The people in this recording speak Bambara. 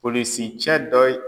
Polisicɛ dɔ ye